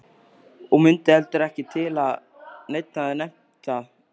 Og mundi heldur ekki til að neinn hefði nefnt það.